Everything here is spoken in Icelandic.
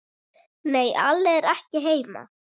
Nei, Alli er ekki heima.